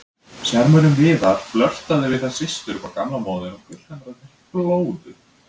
Sjarmörinn Viðar, flörtaði við þær systur upp á gamla móðinn og gullhamrarnir flóðu.